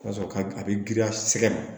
Ka sɔrɔ ka a bi girinya sɛgɛ